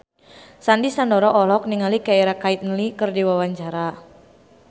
Sandy Sandoro olohok ningali Keira Knightley keur diwawancara